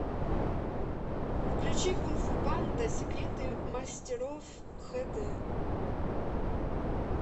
включи кунг фу панда секреты мастеров хэ дэ